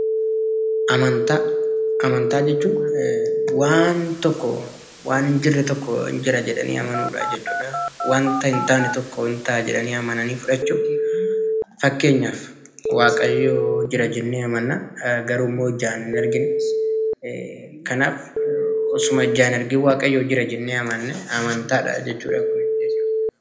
Amantaa jechuun waan hin jirre tokko Jira jedhanii amanuu jechuudha. Wan hin jirre tokko Jira jedhanii fudhachuu. Fakkeenyaaf waaqni Jira jennee amanna garuu ijaan hin arginu.